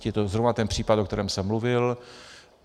To je zrovna ten případ, o kterém jsem mluvil.